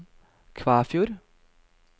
Kvæfjord